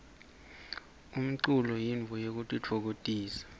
umlulo yintfo yekutitfokotisa